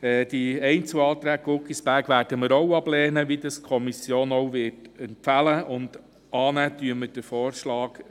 Auch die Einzelanträge Guggisberg werden wir ablehnen, wie das auch die Kommission empfiehlt.